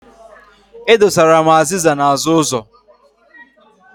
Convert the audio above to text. E dosara m azịza n'azụ ụzọ.